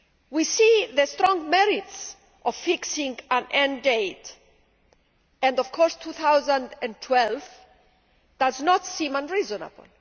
We see the strong merits of fixing an end date and, of course, 2012 does not seem unreasonable.